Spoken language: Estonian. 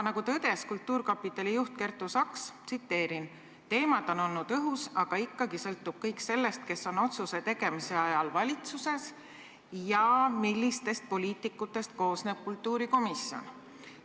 Nagu tõdes kultuurkapitali juht Kertu Saks: "Teemad on olnud õhus, aga ikkagi sõltub kõik sellest, kes on otsuse tegemise ajal valitsuses ja millistest poliitikutest koosneb kultuurikomisjon.